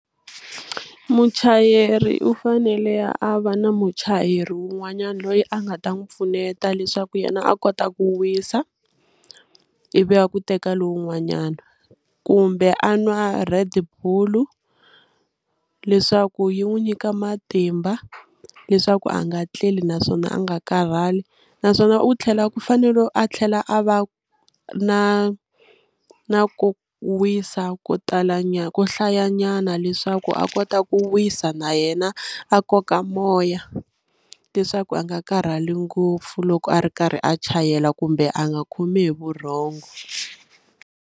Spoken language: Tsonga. Muchayeri u fanele a va na muchayeri wun'wanyana loyi a nga ta n'wi pfuneta leswaku yena a kota ku wisa ivi a ku teka lowun'wanyana kumbe a nwa Red bull leswaku yi n'wi nyika matimba leswaku a nga tleli naswona a nga karhali naswona u tlhela u fanele a tlhela a va na na ku wisa ko tala nyana ko hlayanyana leswaku a kota ku wisa na yena a koka moya leswaku a nga karhali ngopfu loko a ri karhi a chayela kumbe a nga khomi hi vurhongo.